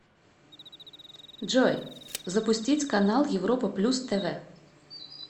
джой запустить канал европа плюс тв